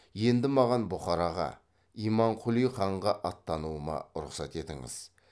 енді маған бұхараға имамқұли ханға аттануыма рұқсат етіңіз